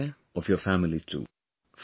Take care of your family too